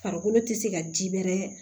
Farikolo te se ka ji bɛrɛ